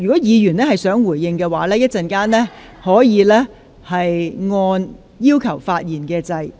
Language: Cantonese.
若議員想回應其他議員的發言，可按下"要求發言"按鈕。